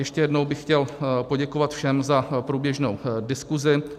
Ještě jednou bych chtěl poděkovat všem za průběžnou diskusi.